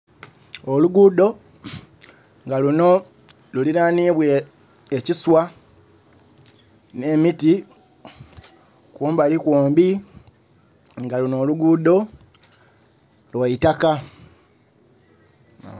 Oluguudo nga lunho luliranibwa ekiswa nhe'miti kumbali kwombi nga lunho olugudho lwaitaka.